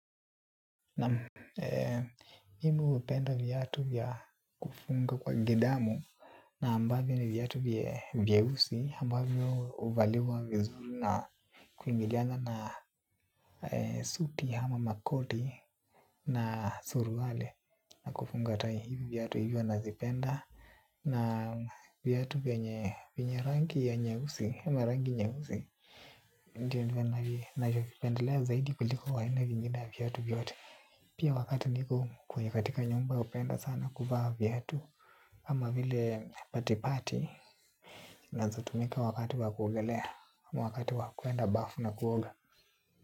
Mimi hupenda viyatu kufunga kwa gidamu na ambavyo na viatu vyeusi ambavyo uvaliwa vizuru na kuingiliana na suti ama makoti na suruali na kufunga tai viatu hivyo nazipenda na viatu vyenye rangi ya nyeusi. Ndiyo nvjivipendelea zaidi kuliko aina vingine ya viatu vyote. Pia wakati niko kwenye katika nyumba upenda sana kuvaa viatu. Ama vile pati pati. Naeza tumika wakati wakuogelea wakati wakuuenda bafu na kuoga.